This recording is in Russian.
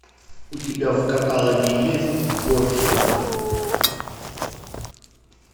у тебя в каталоге есть борджиа